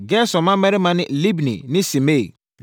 Gerson mmammarima ne: Libni ne Simei.